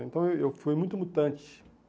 Então eu eu fui muito mutante.